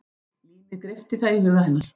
Límið greypti það í huga hennar.